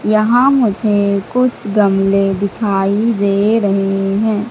यहां मुझे कुछ गमले दिखाई दे रहे हैं।